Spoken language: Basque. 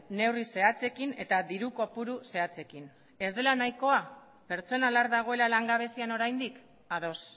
neurri zehatzekin eta diru kopuru zehatzekin ez dela nahikoa pertsona lar dagoela langabezian oraindik ados